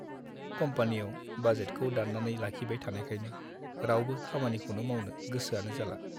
कम्पानियाव बाजेटखौ दान्नानै लाखिबाय थानायखायनो रावबो खामानिखौनो मावनो गोसोआनो जाला।